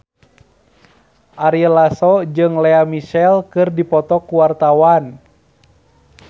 Ari Lasso jeung Lea Michele keur dipoto ku wartawan